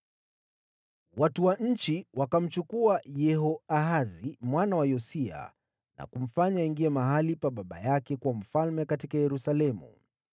Watu wa nchi wakamchukua Yehoahazi mwana wa Yosia na kumfanya mfalme mahali pa baba yake huko Yerusalemu.